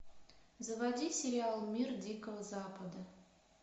заводи сериал мир дикого запада